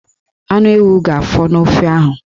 Anu ewu ga-afọ n'ofe ahụ